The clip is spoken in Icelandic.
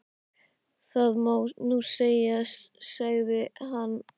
Það má nú segja, sagði hann.